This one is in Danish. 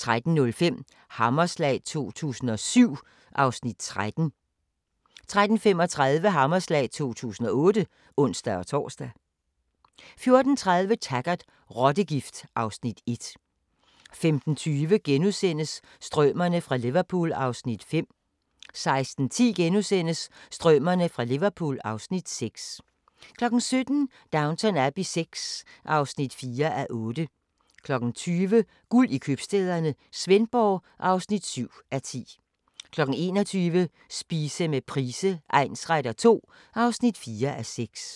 13:05: Hammerslag 2007 (Afs. 13) 13:35: Hammerslag 2008 (ons-tor) 14:30: Taggart: Rottegift (Afs. 1) 15:20: Strømerne fra Liverpool (Afs. 5)* 16:10: Strømerne fra Liverpool (Afs. 6)* 17:00: Downton Abbey VI (4:8) 20:00: Guld i Købstæderne – Svendborg (7:10) 21:00: Spise med Price egnsretter II (4:6)